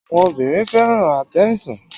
Àwọn obìnrin fẹ́ràn attention.